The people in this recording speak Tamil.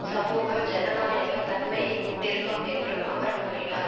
சமூக ஜனநாயக தன்மையை கொண்டிருக்கும் என்றும் அவர் கூறினார்